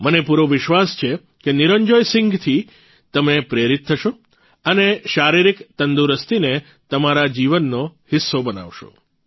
મને પૂરો વિશ્વાસ છે કે નિરંજોય સિંહથી તમે પ્રેરિત થશો અને શારીરિક તંદુરસ્તીને તમારા જીવનનો હિસ્સો બનાવશો